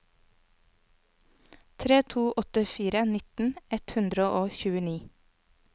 tre to åtte fire nittien ett hundre og tjueni